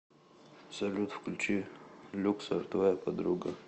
салют включи люксор твоя подруга